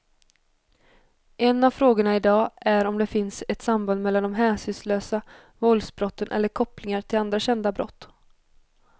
En av frågorna i dag är om det finns ett samband mellan de hänsynslösa våldsbrotten eller kopplingar till andra kända brott.